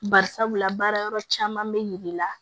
Bari sabula baara yɔrɔ caman bɛ yir'i la